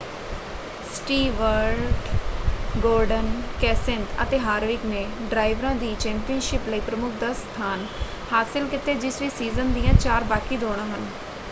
Stewart Gordon Kenseth ਅਤੇ Harvick ਨੇ ਡਰਾਈਵਰਾਂ ਦੀ ਚੈਂਪੀਅਨਸ਼ਿਪ ਲਈ ਪ੍ਰਮੁੱਖ 10 ਸਥਾਨ ਹਾਸਲ ਕੀਤੇ ਜਿਸ ਵਿੱਚ ਸੀਜ਼ਨ ਦੀਆਂ ਚਾਰ ਬਾਕੀ ਦੌੜਾਂ ਹਨ।